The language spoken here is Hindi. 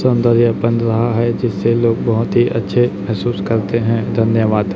शानदार ये बन रहा हैं जिससे लोग बहोत ही अच्छे महसूस करते है धन्यवाद।